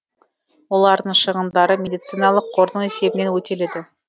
олардың шығындары медициналық қордың есебінен өтеледі